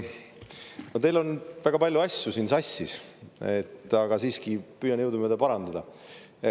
No teil on väga palju asju siin sassis, ma püüan jõudumööda parandada.